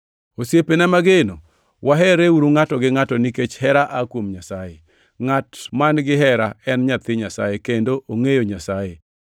Osiepena mageno waherreuru ngʼato gi ngʼato nikech hera aa kuom Nyasaye. Ngʼat man gihera en nyathi Nyasaye kendo ongʼeyo Nyasaye.